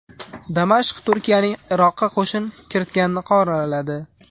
Damashq Turkiyaning Iroqqa qo‘shin kiritganini qoraladi.